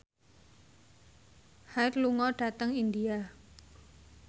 Hyde lunga dhateng India